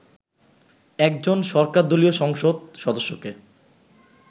একজন সরকারদলীয় সংসদ সদস্যকে